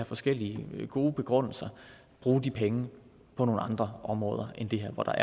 forskellige gode begrundelser bruge de penge på nogle andre områder end det her hvor der